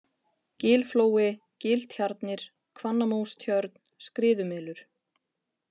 Gilflói, Giltjarnir, Hvannamóstjörn, Skriðumelur